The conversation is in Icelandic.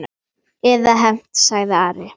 Eða hefnt, sagði Ari.